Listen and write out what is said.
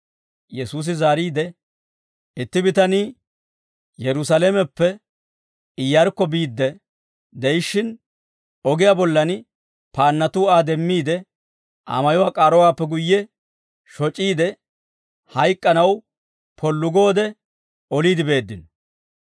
Yesuusi zaariide, «Itti bitanii Yerusaalameppe Iyyarkko biidde de'ishshin, ogiyaa bollan paannatuu Aa demmiide, Aa mayuwaa k'aarowaappe guyye shoc'iide, hayk'k'anaw pollu goode oliide beeddino.